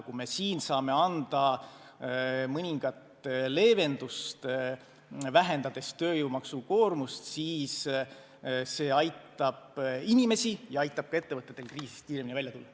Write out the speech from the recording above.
Kui me siin saame anda mõningat leevendust, vähendades tööjõu maksukoormust, siis see aitab inimesi ja aitab ka ettevõtetel kriisist kiiremini välja tulla.